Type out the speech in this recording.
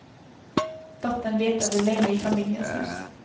Dottern letade länge i familjens hus.